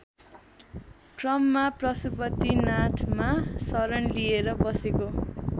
क्रममा पशुपतिनाथमा शरण लिएर बसेको